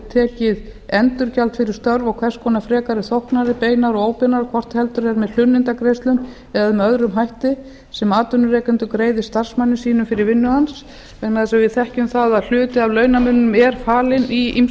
tekið endurgjald fyrir störf og hvers konar frekari þóknanir beinar og óbeinar hvort heldur er með hlunnindagreiðslum eða með öðrum hætti sem atvinnurekandi greiði starfsmanni sínum fyrir vinnu hans vegna þess að við þekkjum það að hluti af launamuninum er falinn í